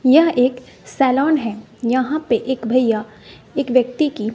यह एक सैलॉन है यहां पे एक भैया एक व्यक्ति की --